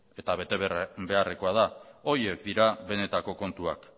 eta bete beharrekoa da horiek dira benetako kontuak